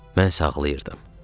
Mən isə ağlayırdım.